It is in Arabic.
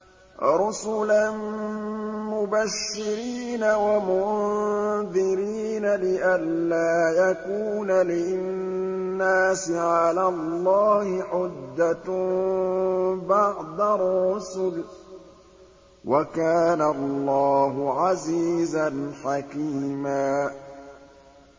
رُّسُلًا مُّبَشِّرِينَ وَمُنذِرِينَ لِئَلَّا يَكُونَ لِلنَّاسِ عَلَى اللَّهِ حُجَّةٌ بَعْدَ الرُّسُلِ ۚ وَكَانَ اللَّهُ عَزِيزًا حَكِيمًا